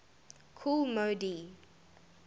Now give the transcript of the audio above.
kool moe dee